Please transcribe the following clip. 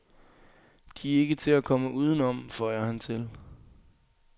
De er ikke til at komme uden om, føjer han til.